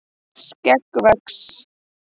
skegg vex